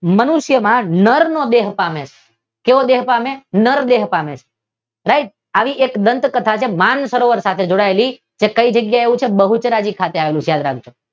મનુષ્યમાં નર નો દેહ પામે છે. કેવો દેહ પામે? નર દેહ પામે છે નર દેહ આવી એક દાંત કથા છે માન સરોવર સાથે જોડાયેલી જે કઈ જગ્યાએ આવેલું છે બહુચરાજી ખાતે